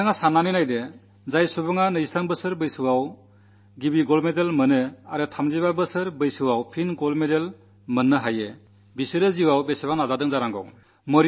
നിങ്ങൾ ചിന്തിച്ചു നോക്കൂ ഒരു മനുഷ്യൻ ഇരുപത്തിമൂന്നാം വയസ്സിൽ സ്വർണ്ണമെഡൽ നേടിയശേഷം വീണ്ടും മുപ്പത്തിമൂന്നാം വയസ്സിൽ രണ്ടാമത് സ്വർണ്ണമെഡൽ നേടണമെങ്കിൽ എത്ര വലിയ സാധന അനുഷ്ഠിച്ചിട്ടുണ്ടാകും